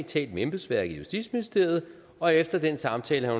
talt med embedsværket i justitsministeriet og efter den samtale